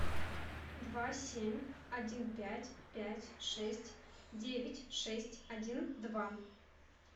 два семь один пять пять шесть девять шесть один два